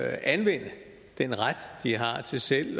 anvende den ret de har til selv